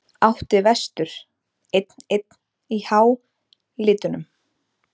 Átti vestur einn-einn í hálitunum?